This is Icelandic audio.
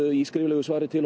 í skriflegu svari til